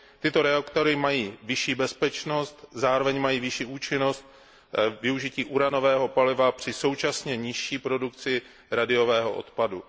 Tyto reaktory mají vyšší bezpečnost, zároveň mají vyšší účinnost využití uranového paliva při současně nižší produkci radioaktivního odpadu.